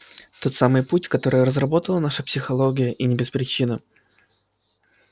тот самый путь который разработала наша психология и не без причины